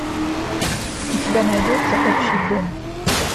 у тебя найдется общий дом